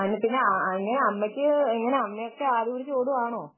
അമ്മക്ക് ഇങ്ങനെ അമ്മക്ക് അമ്മ ഇങ്ങനെ ഓടുകയാണോ